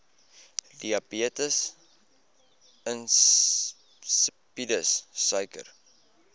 diabetes insipidus suiker